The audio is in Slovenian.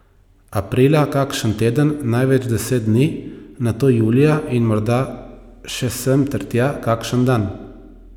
Aprila kakšen teden, največ deset dni, nato julija in morda še sem ter tja kakšen dan.